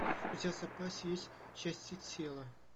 у тебя в запасе есть части тела